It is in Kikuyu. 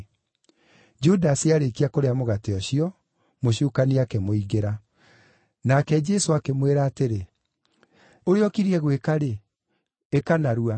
Judasi aarĩkia kũrĩa mũgate ũcio, Mũcukani akĩmũingĩra. Nake Jesũ akĩmwĩra atĩrĩ, “Ũrĩa ũkiriĩ gwĩka-rĩ, ĩka narua.”